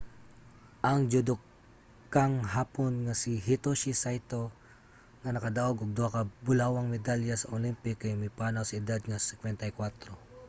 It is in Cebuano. ang judokang hapon nga si hitoshi saito nga nakadaog og duha ka bulawang medalya sa olympic kay mipanaw sa edad nga 54